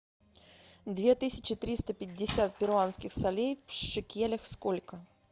две тысячи триста пятьдесят перуанских солей в шекелях сколько